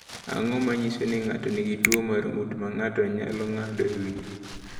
Ang’o ma nyiso ni ng’ato nigi tuwo mar ng’ut ma ng’ato nyalo ng’ado e wiye?